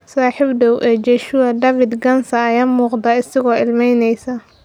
Saaxiib dhow ee Joshua, David Ghansa, ayaa muuqda isagoo ilmeyneysa.